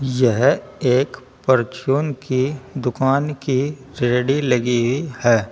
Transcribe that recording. यह एक परचून की दुकान की रेडी लगी है।